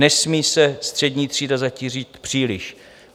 Nesmí se střední třída zatížit příliš.